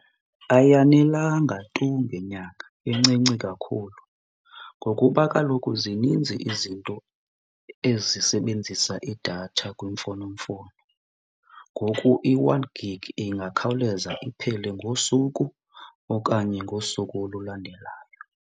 Ayanelanga tu ngenyanga, incinci kakhulu, ngokuba kaloku zininzi izinto ezisebenzisa idatha kwimfonomfono. Ngoku i-one gig ingakhawuleza iphele ngosuku okanye ngosuku olulandelayo.